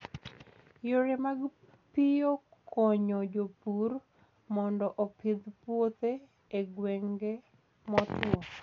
Yore mag piyo konyo jopur mondo opidh puothe e gwenge motwo.